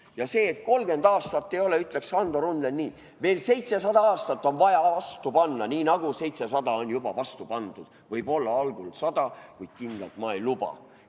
Ja selle kohta, et 30 aastat ei ole olnud, ütleks Hando Runnel nii: "Veel seitsesada aastat on vaja vastu panna, nii nagu seitsesada on vastu pandud juba, algul ainult sada, kuid kindlalt ka ei luba.